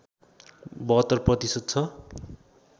७२ प्रतिशत छ